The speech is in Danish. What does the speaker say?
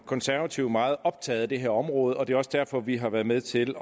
konservative meget optaget af det her område og det er også derfor at vi har været med til